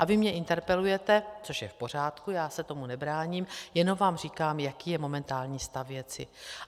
A vy mě interpelujete, což je v pořádku, já se tomu nebráním, jenom vám říkám, jaký je momentální stav věci.